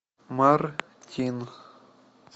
мартин